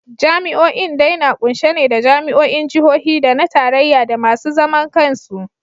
Jami’o’in dai na kunshe ne da jami’o’in Jihohi da na Tarayya da masu zaman kansu.